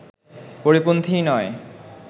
পরিপন্থীই নয়